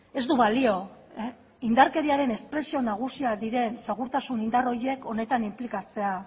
ez du balio indarkeriaren espresio nagusiak diren segurtasun indar horiek honetan inplikatzea